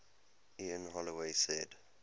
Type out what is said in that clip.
ian holloway said